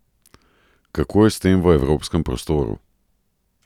Kako je s tem v evropskem prostoru?